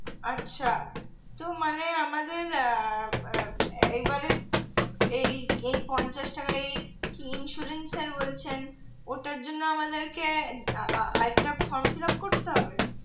আচ্ছা তো মানে আমাদের আহ এইবারের এই পঞ্চাশ টাকা এই insurance যেটা বলছেন ওটার জন্য আমাদেরকে আহ আহ আরেকটা form fillup করতে হবে?